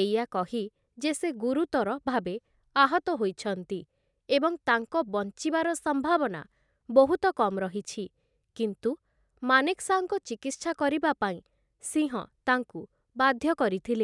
ଏଇଆ କହି ଯେ ସେ ଗୁରୁତର ଭାବେ ଆହତ ହୋଇଛନ୍ତି ଏବଂ ତାଙ୍କ ବଞ୍ଚିବାର ସମ୍ଭାବନା ବହୁତ କମ୍ ରହିଛି, କିନ୍ତୁ ମାନେକ୍‌ଶାଙ୍କ ଚିକିତ୍ସା କରିବା ପାଇଁ, ସିଂହ ତାଙ୍କୁ ବାଧ୍ୟ କରିଥିଲେ ।